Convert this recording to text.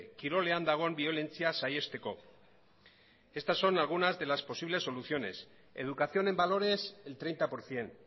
kirolean dagoen biolentzia saihesteko estas son algunas de las posibles soluciones educación en valores el treinta por ciento